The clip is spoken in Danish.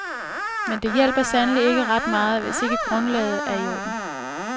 Men det hjælper sandelig ikke ret meget, hvis ikke grundlaget er i orden.